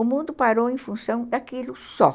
O mundo parou em função daquilo só.